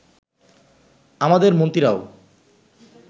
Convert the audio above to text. আমাদের মন্ত্রীরাও